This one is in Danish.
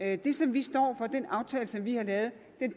at det som vi står for og den aftale som vi har lavet